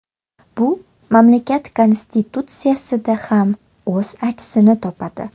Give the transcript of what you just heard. Bu mamlakat konstitutsiyasida ham o‘z aksini topadi.